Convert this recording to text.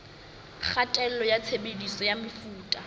kgatello ya tshebediso ya mefuta